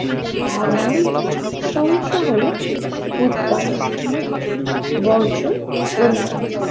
সাধারণ সমস্যা হলে উৎপাদন বর্জ্যের পরিমান